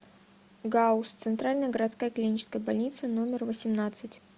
гауз центральная городская клиническая больница номер восемнадцать